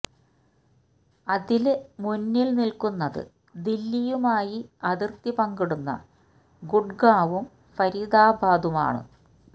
അതില് മുന്നില് നില്ക്കുന്നത് ദില്ലിയുമായി അതിര്ത്തി പങ്കിടുന്ന ഗുഡ്ഗാവും ഫരീദാബാദും ആണ്